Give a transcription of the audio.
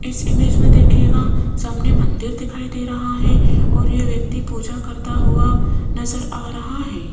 इस इमेज में देखीएगा सामने मंदिर दिखाई दे रहा है और यह व्यक्ति पूजा करता हुआ नजर आ रहा है।